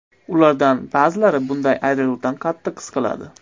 Ulardan ba’zilari bunday ayriliqdan qattiq siqiladi.